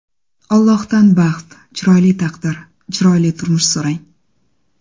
Allohdan baxt, chiroyli taqdir, chiroyli turmush so‘rang.